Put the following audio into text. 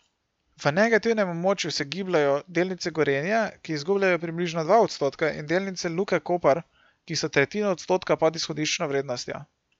V negativnem območju se gibljejo delnice Gorenja, ki izgubljajo približno dva odstotka, in delnice Luke Koper, ki so tretjino odstotka pod izhodiščno vrednostjo.